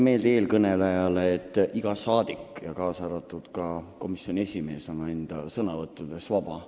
Tuletan eelkõnelejale meelde, et iga rahvasaadik, kaasa arvatud komisjoni esimees, on oma sõnavõttudes vaba.